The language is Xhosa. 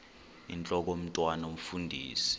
intlok omntwan omfundisi